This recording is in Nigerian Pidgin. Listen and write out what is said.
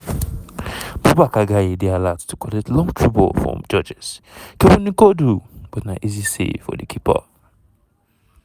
55 mins- baboucarr gaye dey alert to collect long through ball from georges-kevin n'koudou but na easy save for di keeper!